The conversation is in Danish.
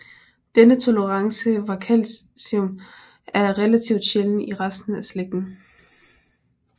Denne tolerance for calcium er relativt sjælden i resten af slægten